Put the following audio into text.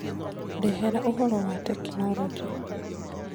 ndehera ũhoro wa tekinoronjĩ